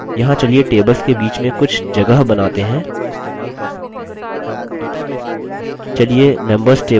यहाँ चलिए tables के बीच में कुछ जगह बनाते हैं